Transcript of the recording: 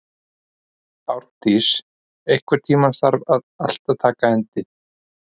Árndís, einhvern tímann þarf allt að taka enda.